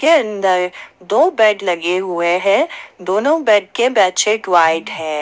के अंदर दो बेड लगे हुए हैं दोनों बेड के बेडशीट व्हाइट है।